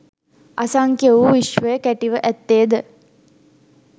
අසංඛ්‍ය වූ විශ්වය කැටිව ඇත්තේ ද